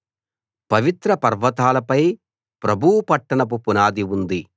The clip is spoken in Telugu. పవిత్ర పర్వతాలపై ప్రభువు పట్టణపు పునాది ఉంది